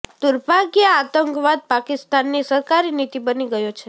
દુર્ભાગ્યે આતંકવાદ પાકિસ્તાનની સરકારી નીતિ બની ગયો છે